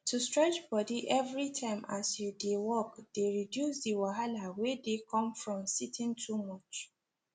to stretch body everytime as you dey work dey reduce the wahala wey dey come from sitting too much